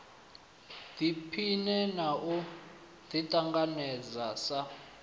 ḓiphine na u ḓiṱanganedza sa